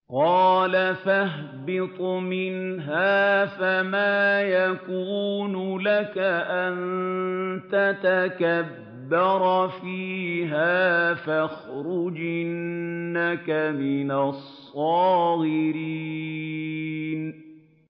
قَالَ فَاهْبِطْ مِنْهَا فَمَا يَكُونُ لَكَ أَن تَتَكَبَّرَ فِيهَا فَاخْرُجْ إِنَّكَ مِنَ الصَّاغِرِينَ